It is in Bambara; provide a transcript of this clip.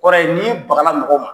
kɔrɔ ye n'i bagala mɔgɔw ma